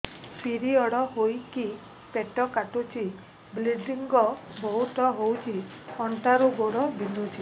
period ହୋଇକି ପେଟ କାଟୁଛି ବ୍ଲିଡ଼ିଙ୍ଗ ବହୁତ ହଉଚି ଅଣ୍ଟା ରୁ ଗୋଡ ବିନ୍ଧୁଛି